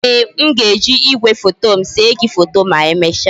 Ee, m ga-eji igwefoto m see gi foto ma emecha